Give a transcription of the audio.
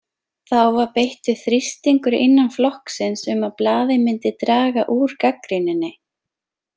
Þá var beittur þrýstingur innan flokksins um að blaðið myndi draga úr gagnrýninni.